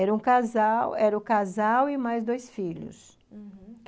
Era um casal, era o casal e mais dois filhos, uhum.